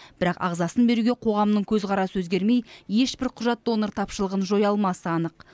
бірақ ағзасын беруге қоғамның көзқарасы өзгермей ешбір құжат донор тапшылығын жоя алмасы анық